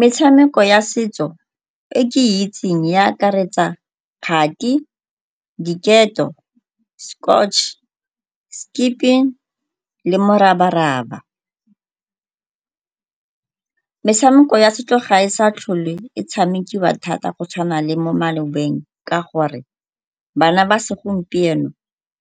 Metshameko ya setso e ke e itseng e akaretsa kgati, diketo, , skipping le morabaraba. Metshameko ya setso ga e sa tlhole e tshamekiwa thata go tshwana le mo malobeng ka gore bana ba segompieno